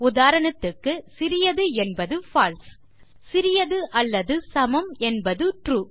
உதாரணத்திற்கு சிறியது என்பது பால்சே சிறியது அல்லது சமம் என்பது ட்ரூ